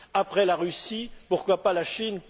Après la Russie, pourquoi pas la Chine?